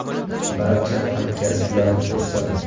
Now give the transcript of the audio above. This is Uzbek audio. Barcha hamkasblar xursand.